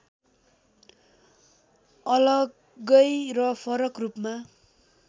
अलग्गै र फरक रूपमा